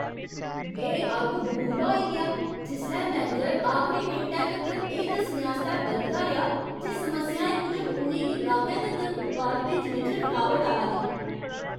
में अग्गबबूला होई गेआ जिसलै मैनेजर ने आखरी मिंटै तक्कर एह् दस्सने आस्तै बलगदा रेहा जे समस्याएं मूजब उ'नें गी गाह्कै तक्कर उत्पाद भेजने च रकावट आवा दी।